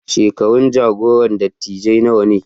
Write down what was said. Shekarun jagoran dattijai nawa ne?